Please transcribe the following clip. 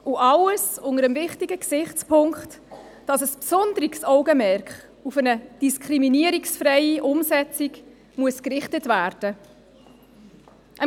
All dies unter dem wichtigen Gesichtspunkt, dass ein besonderes Augenmerk auf eine diskriminierungsfreie Umsetzung gerichtet werden muss.